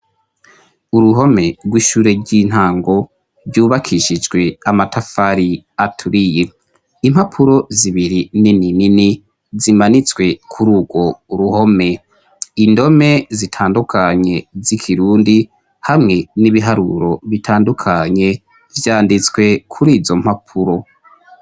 Uruhomerw'ishure ry' intango ryubakishijwe amatafari aturiye. Impapuro zibiri nininini zimanitswe kuri urwo uruhome. Indome zitandukanye z'Ikirundi hamwe n'ibiharuro bitandukanye vyanditswe kuri izo mpapuro.